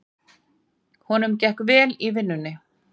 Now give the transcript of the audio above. Honum gekk vel í vinnunni.